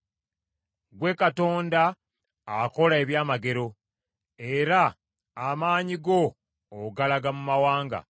Ggwe Katonda akola eby’amagero; era amaanyi go ogalaga mu mawanga.